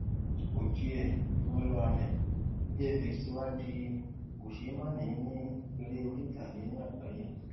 ojie imoloame vfx tí wá di kò ṣe má ní èrè orí itage ni àgbáyé